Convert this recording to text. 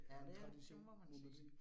Ja det er, det må man sige